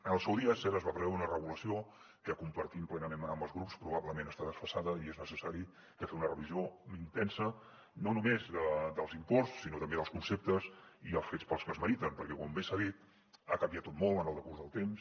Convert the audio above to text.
en el seu dia és cert es va preveure una regulació que compartim plenament amb els grups que probablement està desfasada i és necessari que en fem una revisió intensa no només dels imports sinó també dels conceptes i els fets pels que es meriten perquè com bé s’ha dit ha canviat tot molt en el decurs del temps